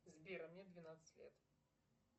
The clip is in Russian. сбер а мне двенадцать лет